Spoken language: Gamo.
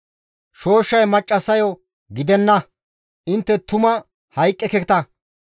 Shooshshay maccassayo, «Gidenna! Intte tuma hayqqeketa;